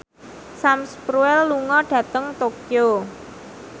Sam Spruell lunga dhateng Tokyo